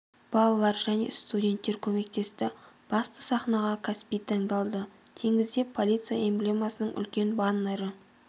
балалар және студенттер көмектесті басты сахнаға каспий таңдалды теңізде полиция эмблемасының үлкен баннері